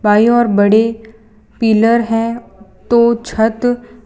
by और बड़ी pillar है तो छत --